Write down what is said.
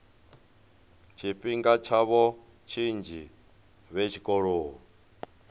tshifhinga tshavho tshinzhi vhe tshikoloni